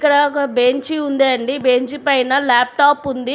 ఇక్కడ ఒక బెంచి ఉందండి. బెంచి పైన ల్యాప్టాప్ ఉంది.